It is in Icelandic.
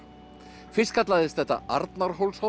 fyrst kallaðist þetta